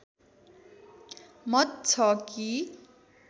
मत छ कि